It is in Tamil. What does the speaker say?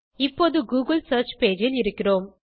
இப்போது கூகிள் சியர்ச் பேஜ் ல் இருக்கிறோம்